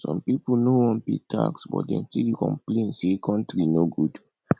some people no wan pay tax but dem still dey complain say country no good